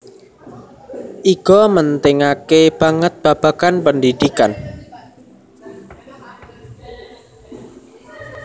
Iga mentingake banget babagan pendhidhikan